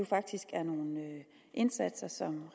faktisk er nogle indsatser som